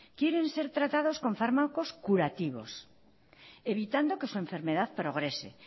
quieren ser tratados con fármacos curativos evitando que su enfermedad progrese